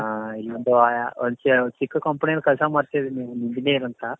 ಅ ಈಗ ಚಿಕ್ಕು companyಲಿ ಕೆಲ್ಸ ಮಾಡ್ತಿದೀನಿ engineer ಅಂತ.